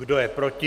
Kdo je proti?